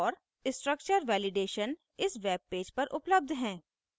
* structure validationare structure validation इस webpage पर उपलब्ध हैं